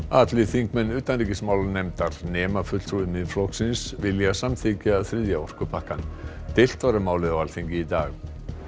allir þingmenn utanríkismálanefndar nema fulltrúi Miðflokksins vilja samþykkja þriðja orkupakkann deilt var um málið á Alþingi í dag